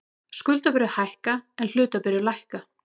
Skuldabréf hækka en hlutabréf lækka